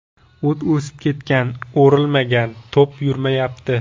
O‘t o‘sib ketgan, o‘rilmagan, to‘p yurmayapti.